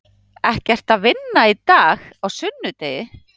Ekki ertu að vinna í dag, á sunnudegi?